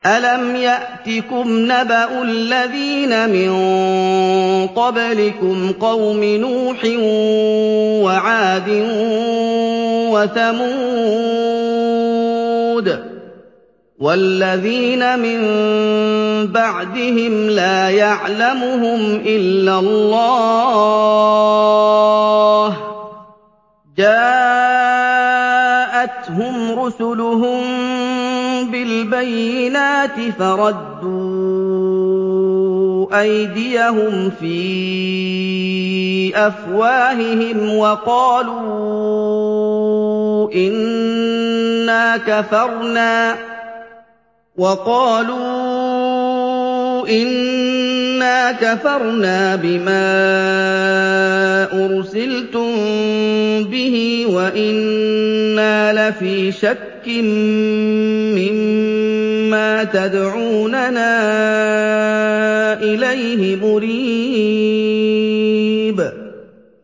أَلَمْ يَأْتِكُمْ نَبَأُ الَّذِينَ مِن قَبْلِكُمْ قَوْمِ نُوحٍ وَعَادٍ وَثَمُودَ ۛ وَالَّذِينَ مِن بَعْدِهِمْ ۛ لَا يَعْلَمُهُمْ إِلَّا اللَّهُ ۚ جَاءَتْهُمْ رُسُلُهُم بِالْبَيِّنَاتِ فَرَدُّوا أَيْدِيَهُمْ فِي أَفْوَاهِهِمْ وَقَالُوا إِنَّا كَفَرْنَا بِمَا أُرْسِلْتُم بِهِ وَإِنَّا لَفِي شَكٍّ مِّمَّا تَدْعُونَنَا إِلَيْهِ مُرِيبٍ